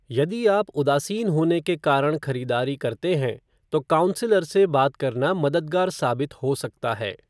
यदि आप उदासीन होने के कारण खरीदारी करते हैं, तो काउंसलर से बात करना मददगार साबित हो सकता है।